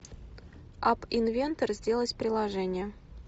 ап инвентор сделать приложение